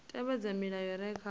tevhedza milayo i re kha